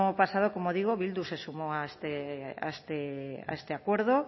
pasado como digo bildu se sumó a este acuerdo